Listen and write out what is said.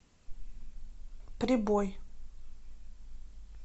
прибой